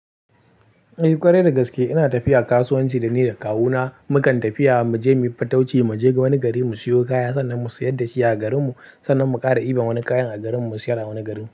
Eh ƙwarai dagaske ina tafiya kasuwanci dani da kawuna mukan tafiya muje muyi fatauci, muje wani gari mu siyo kaya sannan mu sayar dashi a garinmu sannan mu ƙara iba wani kayan a garinmu mu siyar a wani gari.